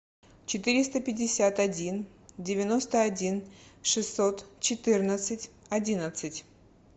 четыреста пятьдесят один девяносто один шестьсот четырнадцать одиннадцать